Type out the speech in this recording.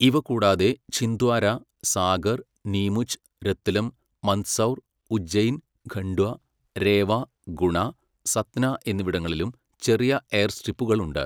ഇവ കൂടാതെ, ഛിന്ദ്വാര, സാഗർ, നീമുച്ച്, രത്ലം, മന്ദ്സൗർ, ഉജ്ജയിൻ, ഖണ്ട്വ, രേവ, ഗുണ, സത്ന എന്നിവിടങ്ങളിലും ചെറിയ എയർസ്ട്രിപ്പുകൾ ഉണ്ട്.